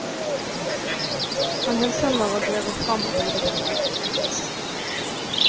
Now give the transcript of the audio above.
Han hugg tømmer og drev det fram og bygde bro.